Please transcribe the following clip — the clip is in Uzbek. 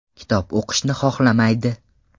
Kitob o‘qishni xohlamaydi.